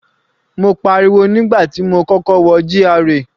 Mo pariwo nígbà tí mo kọ́kọ́ wọ GRA.